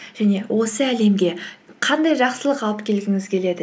және осы әлемге қандай жақсылық алып келгіңіз келеді